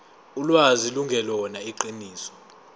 ulwazi lungelona iqiniso